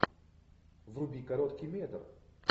вруби короткий метр